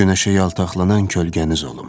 Günəşə yaltaqlanan kölgəniz olum.